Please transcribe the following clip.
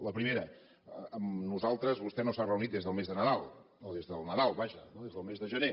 la primera amb nosaltres vostè no s’ha reunit des del mes de nadal o des del nadal vaja des del més de gener